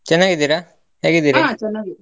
ಚನ್ನಾಗಿದ್ದಿರ? .